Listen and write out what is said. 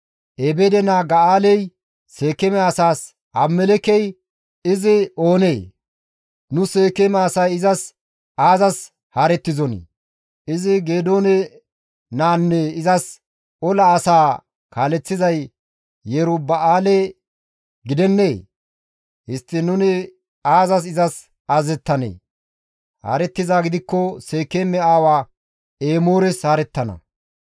Ebeede naa Ga7aaley Seekeeme asaas, «Abimelekkey izi oonee? Nu Seekeeme asay izas aazas haarettizonii? Izi Geedoone naanne izas ola asaa kaaleththizay Yeruba7aale gidennee? Histtiin nuni izas aazas azazettanee? Haarettizaa gidikko Seekeeme aawa Emoores haarettana.